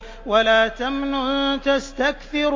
وَلَا تَمْنُن تَسْتَكْثِرُ